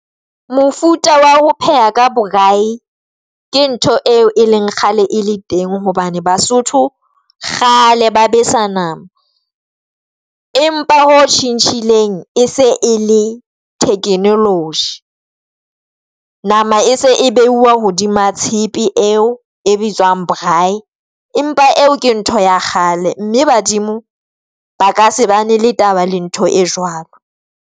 Mofuta wa ho pheha ka braai ke ntho eo e leng kgale e le teng. Hobane Basotho kgale ba besa nama, empa ho tjhentjhileng e se e le Technology nama e se e behuwa hodima tshepe eo e bitswang braai, empa eo ke ntho ya kgale mme badimo ba ka se bana le taba le ntho e jwalo.